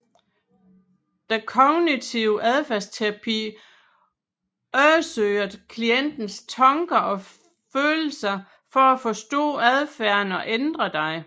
Den kognitive adfærdsterapi undersøger klientens tanker og følelser for at forstå adfærden og ændre den